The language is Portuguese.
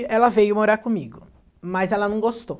E ela veio morar comigo, mas ela não gostou.